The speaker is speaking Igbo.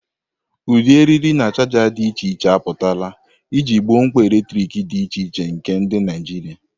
Ụdị eriri na chaja dị iche iche apụtala iji gboo mkpa eletrik dị iche iche nke ndị Naijiria.